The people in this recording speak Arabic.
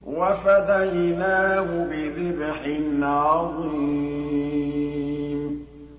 وَفَدَيْنَاهُ بِذِبْحٍ عَظِيمٍ